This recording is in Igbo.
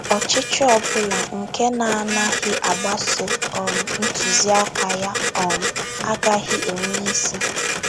Ọchịchị ọ bụla nke na - anaghị agbaso um ntụziaka ya um agaghị enwe isi.